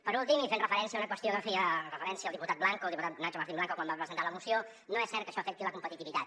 per últim i fent referència a una qüestió a què feia referència el diputat blanco el diputat nacho martín blanco quan va presentar la moció no és cert que això afecti la competitivitat